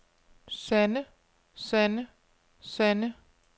sande sande sande